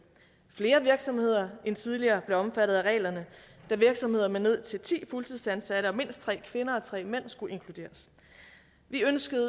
flere virksomheder end tidligere blev omfattet af reglerne da virksomheder med ned til ti fuldtidsansatte og mindst tre kvinder og tre mænd skulle inkluderes vi ønskede